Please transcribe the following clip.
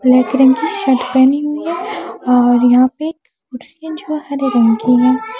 Black रंग की shirt पहनी हुई है और यहाँ पे कुर्सी जो हरे रंग की है।